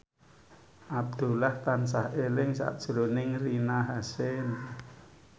Abdullah tansah eling sakjroning Rina Hasyim